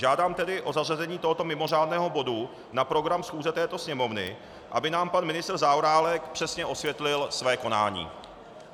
Žádám tedy o zařazení tohoto mimořádného bodu na program schůze této Sněmovny, aby nám pan ministr Zaorálek přesně osvětlil své konání.